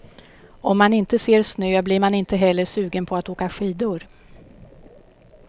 Om man inte ser snö blir man inte heller sugen på att åka skidor.